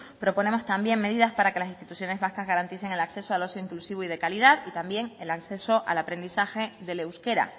proponemos también medidas para que las instituciones vascas garanticen el acceso al uso inclusivo y de calidad y también el acceso al aprendizaje del euskera